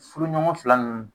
Furuɲɔgɔn fila nunnu